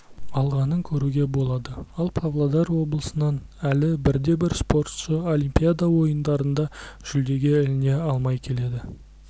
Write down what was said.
алғанын көруге болады ал павлодар облысынан әлі бірде-бір спортшы олимпиада ойындарында жүлдеге іліне алмай келеді